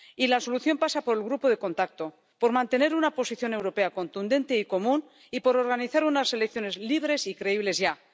Y la solución pasa por el grupo de contacto, por mantener una posición europea contundente y común y por organizar unas elecciones libres y creíbles ya.